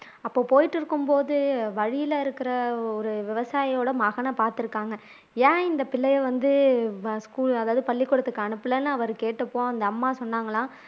அப்போ போயிட்டு இருக்கும்போது வழியில இருக்கிற ஒரு விவசாயியோட மகனை பார்த்து இருக்காங்க ஏன் இந்த பிள்ளையை வந்து school அதாவது பள்ளிக்கூடத்துக்கு அனுப்பலன்னு அவரு கேட்டப்போ அந்த அம்மா சொன்னாங்களாம்